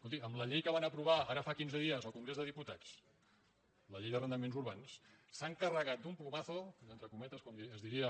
escolti amb la llei que van aprovar ara fa quin·ze dies al congrés dels diputats la llei d’arrendaments urbans s’han carregat d’un plumazo entre cometes com es diria